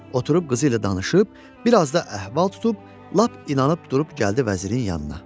Oturub qızı ilə danışıb, biraz da əhval tutub lap inanıb durub gəldi vəzirin yanına.